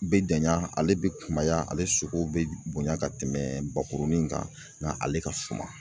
Bɛ janya ale bɛ kumaya ale sogo bɛ bonya ka tɛmɛ bakurunin kan nka ale ka suma.